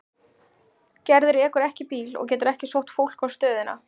Gerður ekur ekki bíl og getur ekki sótt fólk á stöðina.